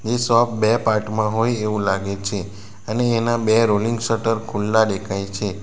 એ shop બે part માં હોય એવું લાગે છે અને એના બે રોલિંગ શટર ખુલ્લા દેખાય છે.